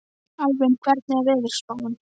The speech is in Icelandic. Alvin, hvernig er veðurspáin?